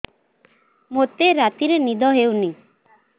ମୋତେ ରାତିରେ ନିଦ ହେଉନି